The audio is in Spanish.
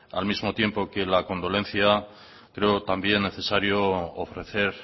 al mismo tiempo que la condolencia creo también necesario ofrecer